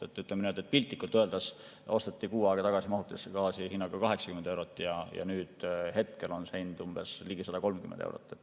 Ütleme nii, et piltlikult öeldes osteti kuu aega tagasi mahutisse gaasi hinnaga 80 eurot ja nüüd on see hind umbes 130 eurot.